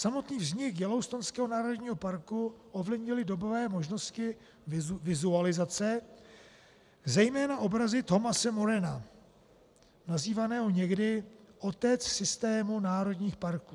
Samotný vznik Yellowstonského národního parku ovlivnily dobové možnosti vizualizace, zejména obrazy Thomase Morana nazývaného někdy "otec systému národních parků".